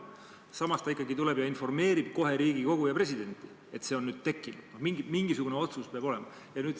Samas peaminister ikkagi tuleb ja informeerib kohe Riigikogu ja presidenti, et see on nüüd tekkinud – mingisugune otsus peab ju olema.